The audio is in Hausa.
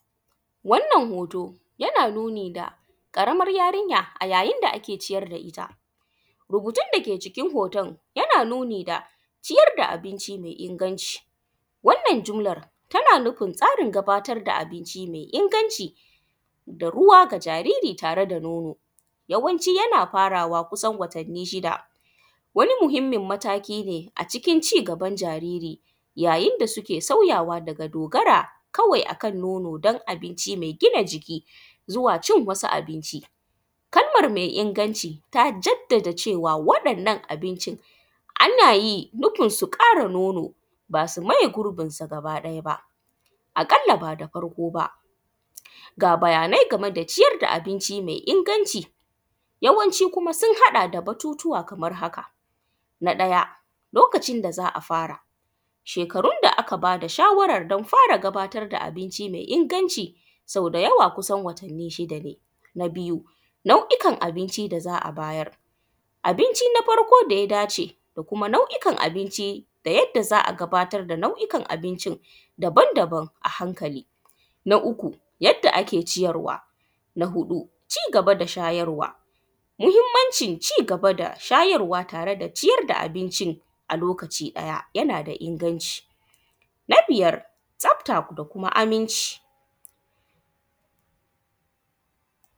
Wannan hoto yana nuni da ƙaramar yarinya yayin da ake ciyar da ita, rubutun dake cikin hoton yana nuni da ciyar da abinci ne me inganci, wannan jimlan tana nufin tsarin gabatar da abinci me inganci da ruwa ga jariri tare da nono. Yawanci yana farawa kusan watanni shida, wani muhinmin matakine a cikin rayuwan jariri yayin da suke sauyawa daga dogara kawai akan nono da kuma abinci me gina jiki zuwa cin wasu abinci, kalman me inganci ta jadda cewa waɗannan abincin ana yi nufinsu ƙara nono ba su maye gurbinsu gabaɗaya ba aƙalla ba da farko ba. Ga bayanai game da ciyar da abinci me inganci yawanci sun haɗa da batutuwa kaman haka: na ɗaya lokacin da za a fara shekarun da aka ba da shawaran don fara gabatar da abinci me inganci sau da yawa kusan watanni shida ne. Na biyu nau’ikan abinci da za a bayar, abinci na farko da ya dace kuma nau’ikan abinci da yanda za a gabatar da nau’ukan abincin daban-daban a hankali. Na uku yanda ake ciyarwa na huɗu cigaba da shayarwa, muhinmancin cigaba da shayarwa na tare da cin abincin a lokaci ɗaya yana da inganci. Na biyar tsafta da kuma inganci.